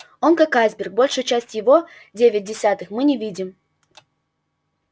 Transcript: он как айсберг большую часть его девять десятых мы не видим